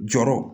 Jɔrɔ